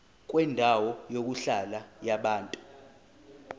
kwendawo yokuhlala yabantu